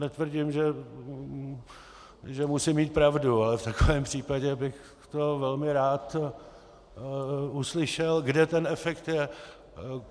Netvrdím, že musím mít pravdu, ale v takovém případě bych to velmi rád uslyšel, kde ten efekt je.